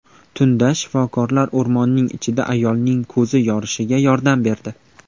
Tunda shifokorlar o‘rmonning ichida ayolning ko‘zi yorishiga yordam berdi.